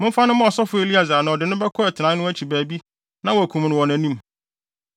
Momfa no mma ɔsɔfo Eleasar na ɔde no bɛkɔ atenae no akyi baabi na wɔakum no wɔ nʼanim.